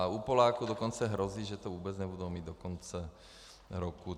A u Poláků dokonce hrozí, že to vůbec nebudou mít do konce roku.